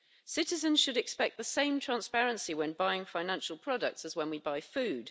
Citizens should expect the same transparency when buying financial products as when we buy food.